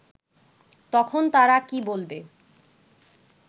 তখন তারা কি বলবে